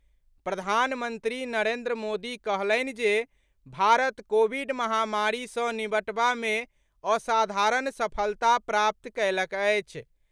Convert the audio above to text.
प्रधानमंत्री नरेन्द्र मोदी कहलनि जे भारत कोविड महामारी सँ निबटबा मे असाधारण सफलता प्राप्त कयलक अछि।